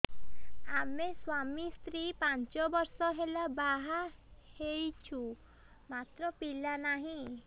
ଆମେ ସ୍ୱାମୀ ସ୍ତ୍ରୀ ପାଞ୍ଚ ବର୍ଷ ହେଲା ବାହା ହେଇଛୁ ମାତ୍ର ପିଲା ନାହିଁ